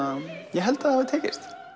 ég held að það hafi tekist